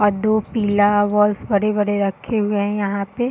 और दो पीला बॉल्स बड़े-बड़े रखे हुए हैं यहाँ पे।